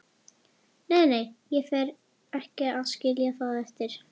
Nei, nei, ég fer ekki að skilja það eftir.